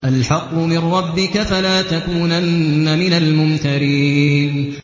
الْحَقُّ مِن رَّبِّكَ ۖ فَلَا تَكُونَنَّ مِنَ الْمُمْتَرِينَ